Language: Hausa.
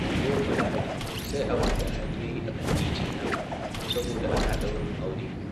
Yau fa Lahadi sai abin da hali yayi a kan titin nan saboda ana ɗaurin aure.